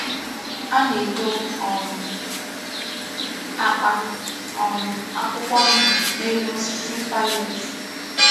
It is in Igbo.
A na-edọ̀ um akpa um akwụkwọ ndụ, n’elu osisi pallet.